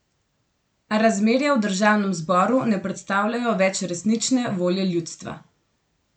A razmerja v državnem zboru ne predstavljajo več resnične volje ljudstva.